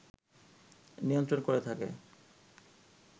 নিয়ন্ত্রণ করে থাকে